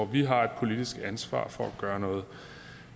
vi har et politisk ansvar for at gøre noget